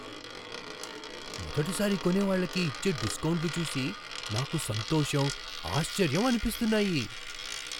మొదటిసారి కొనేవాళ్ళకి ఇచ్చే డిస్కౌంట్లు చూసి నాకు సంతోషం, ఆశ్చర్యం అనిపిస్తున్నాయి.